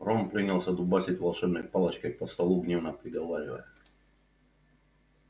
рон принялся дубасить волшебной палочкой по столу гневно приговаривая